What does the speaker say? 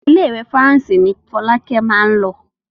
Ile-iwe Faranse ní Folake má ló.